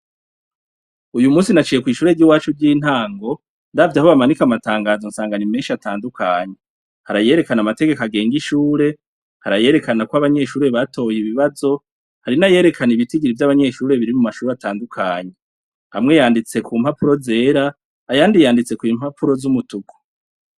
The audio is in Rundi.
Uyu munsi naciye kw'ishure ry'i wacu ry'intango ndavye aho bamanika amatangazo nsangana ni menshi atandukanye. Hari ayerekana amategeko agenga ishure, hari ayerekana ko abanyeshuri batoye ibibazo, hari n'ayerekana ibitigiri vy'abanyeshure biri mu mashuri atandukanye. Amwe yanditse ku mpapuro zera, ayandi yanditse ku impapuro z'umutuku.